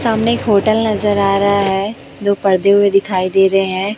सामने एक होटल नजर आ रहा है दो पर्दे हुए दिखाई दे रहे हैं।